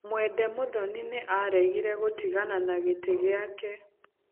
Mwende Muthoni nĩ aaregire gũtigana na gĩtĩ gĩake.